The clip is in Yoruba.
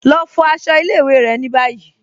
Lọ fo àṣọ̀ ilẹ̀-ìwé̀ rẹ̀ ni báyì